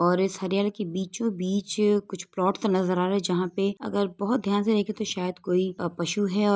और इस हरयाली के बीचोबीच कुछ प्लाट सा नज़र आ रहा है जहाँ पे अगर बहुत ध्यान से देखे तो शायद कोई पशु है अगर कोई --